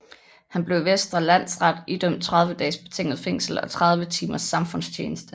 Han blev i Vestre Landsret idømt 30 dages betinget fængsel og 30 timers samfundstjeneste